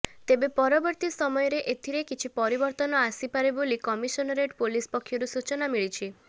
ତେବେ ପରବର୍ତ୍ତୀ ସମୟରେ ଏଥିରେ କିଛି ପରିବର୍ତ୍ତନ ଆସିପାରେ ବୋଲି କମିଶନରେଟ ପୋଲିସ ପକ୍ଷରୁ ସୂଚନା ମିଳିଛି